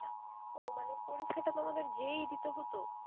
ও মানে পরীক্ষাটা তোমাদের যেয়েই দিতে হোত?